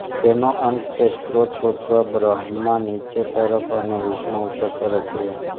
તેનો અંત કે સ્ત્રોત શોધાવા બ્રહ્મા નીચે તરફ અને વિષ્ણુ ઉપર તરફ ગયા